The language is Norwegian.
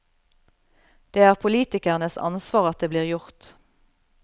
Det er politikernes ansvar at det blir gjort.